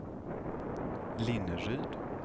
Linneryd